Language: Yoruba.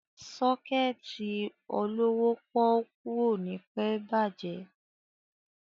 Sọ́kẹ̀tì olówó pọ́ọ́kú ò ní pẹ́ bàjẹ́.